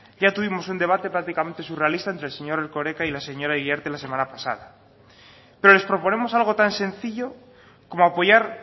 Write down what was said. ya tuvimos un debate prácticamente surrealista entre el señor erkoreka y la señora iriarte la semana pasada pero les proponemos algo tan sencillo como apoyar